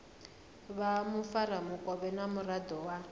vha mufaramukovhe na muraḓo wa